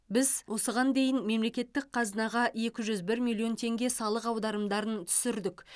біз осыған дейін мемлекеттік қазынаға екі жүз бір миллион теңге салық аударымдарын түсірдік